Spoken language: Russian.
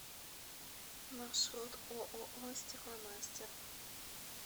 маршрут ооо стекломастер